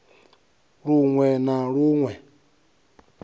lun we na lun we